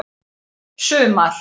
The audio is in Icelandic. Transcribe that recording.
sumar